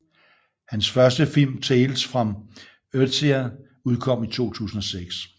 Hans første film Tales from Earthsea udkom i 2006